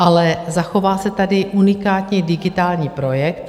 Ale zachová se tady unikátní digitální projekt.